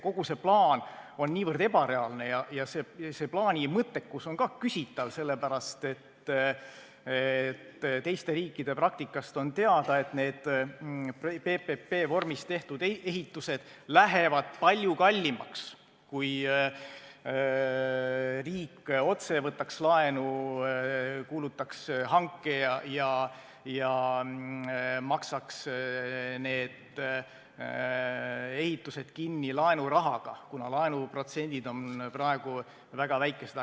Kogu see plaan on niivõrd ebareaalne ja selle mõttekus on ka küsitav, sellepärast, et teiste riikide praktikast on teada, et need PPP-vormis tehtud ehitused lähevad palju kallimaks sellest, kui riik otse võtaks laenu, kuulutaks hanke ja maksaks need ehitused kinni laenurahaga, kuna laenuprotsendid on praegu väga väikesed.